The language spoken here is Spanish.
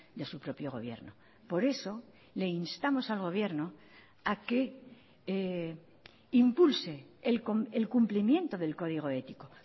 de su propio gobierno por eso le instamos al gobierno a que impulse el cumplimiento del código ético